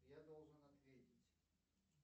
я должен ответить